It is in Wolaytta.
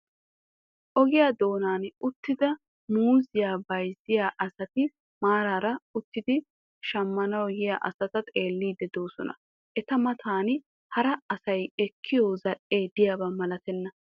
Ogiyaa doonan uttida muuzziyaa bayzziyaa asati maaraara uttidi shammanawu yiyaa asata xeelliidi de'oosona. Eta matan hara asay ekkiyoo zal"ee diyaaba malatenna.